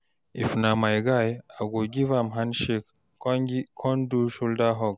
if na my guy, I go giv am handshake con do shoulder hug